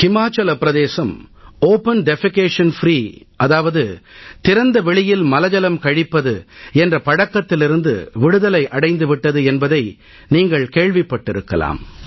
ஹிமாச்சல பிரதேசம் திறந்த வெளியில் மலஜலம் கழிப்பது என்ற பழக்கத்திலிருந்து விடுதலை அடைந்து விட்டது என்பதை நீங்கள் கேள்விப்பட்டிருக்கலாம்